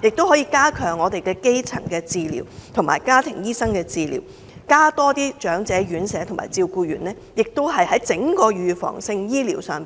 政府可以加強基層治療和家庭醫生治療，增加長者院舍和護理員，在整個預防治療上